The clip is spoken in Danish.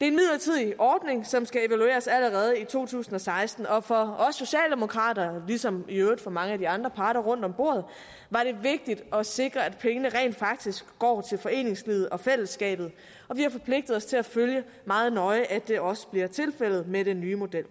en midlertidig ordning som skal evalueres allerede i to tusind og seksten og for os socialdemokrater ligesom i øvrigt for mange af de andre parter rundt om bordet var det vigtigt at sikre at pengene rent faktisk går til foreningslivet og fællesskabet og vi har forpligtet os til at følge meget nøje at det også bliver tilfældet med den nye model